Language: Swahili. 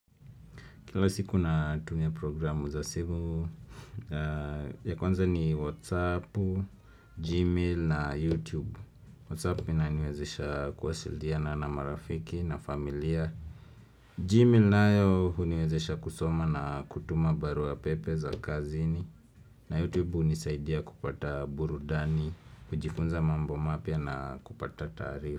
Kila siku natumia programu za simu, ya kwanza ni Whatsapp, Gmail na YouTube. Whatsapp inaniwezesha kuwasiliana na marafiki na familia. Gmail nayo huniwezesha kusoma na kutuma barua pepe za kazini. Na YouTube hunisaidia kupata burudani, kujifunza mambo mapya na kupata taarifa.